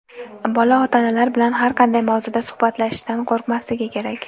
Bola ota-onalar bilan har qanday mavzuda suhbatlashishdan qo‘rqmasligi kerak.